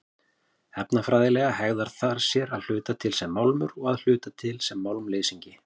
Efnafræðilega hegðar það sér að hluta sem málmur og að hluta sem málmleysingi.